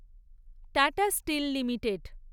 tata steel limited